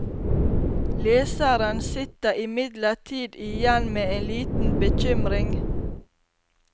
Leseren sitter imidlertid igjen med en liten bekymring.